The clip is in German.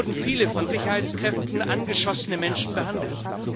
Dort wurden viele von Sicherheitskräften angeschossene Menschen behandelt.